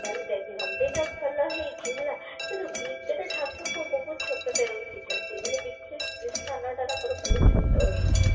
ମାନେ ମନ୍ଦିର ଟା ଭଲ ହେଇଛି ହେଲା କିନ୍ତୁ ଭିତରେ ଜାଗା ବହୁତ ଛୋଟଟେ ରଖିଛନ୍ତି ମାନେ ଭିତରେ ସ୍ଥାନଟା ନା ବହୁତ ଛୋଟ ହେଇଛି